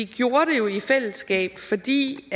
det jo i fællesskab fordi